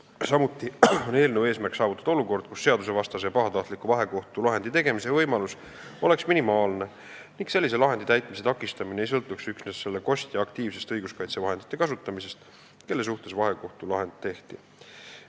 Samuti on eelnõu eesmärk saavutada olukord, kus vahekohtu seadusvastase ja pahatahtliku otsuse tegemise võimalus oleks minimaalne ning sellise otsuse täitmise takistamine ei sõltuks üksnes selle kostja aktiivsest õigusvahendite kasutamisest, kelle kohta vahekohtu otsus tehti.